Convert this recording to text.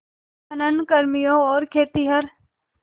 खनन कर्मियों और खेतिहर